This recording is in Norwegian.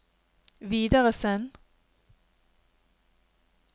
videresend